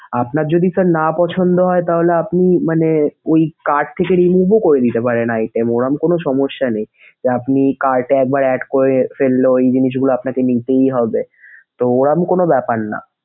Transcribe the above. আপনার যদি sir না পছন্দ হয় তাহলে আপনি মানে ওই cart থেকে remove ও করে নিতে পারেন item । ওরকম কোন সমস্যা নেই যে, আপনি cart এ একবার add করে ফেললো ওই জিনিসগুলো আপনাকে নিতেই হবে তো ওরকম কোন ব্যপার না।